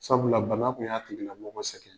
Sabula bana kun y'a tigila mɔgɔ sɛgɛn.